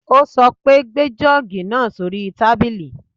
Ó sọ pé, gbé jọ́ọ̀gì náà sóri tábìlì.